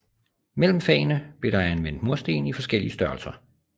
Mellem fagene blev der anvendt mursten i forskellige størrelser